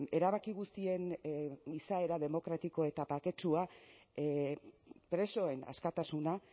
erabaki guztien izaera demokratiko eta baketsua presoen askatasuna